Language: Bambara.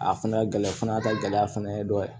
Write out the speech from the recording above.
A fana gɛlɛya fana ta gɛlɛya fana ye dɔ ye